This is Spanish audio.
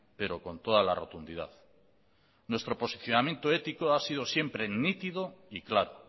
pero con toda la rotundidad nuestro posicionamiento ético ha sido siempre nítido y claro